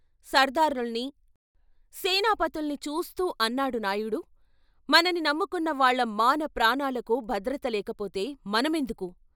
సర్దారుల్ని, సేనాపతుల్ని చూస్తూ అన్నాడు నాయుడు " మనని నమ్ముకున్న వాళ్ళ మాన, ప్రాణాలకు భద్రత లేకపోతే మన మెందుకు?